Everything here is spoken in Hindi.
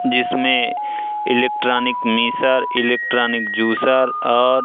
जिसमें इलेक्ट्रॉनिक मिसर इलेक्ट्रॉनिक जूसर और--